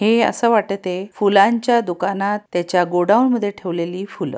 हे असं वाटते फुलांच्या दुकानात त्याच्या गोडाऊन मध्ये ठेवलेली फुलं.